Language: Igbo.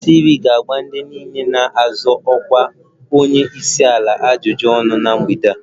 Channels TV ga-agba ndị niile na-azọ ọkwa onye isi ala ajụjụ ọnụ na mgbede a